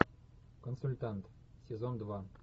консультант сезон два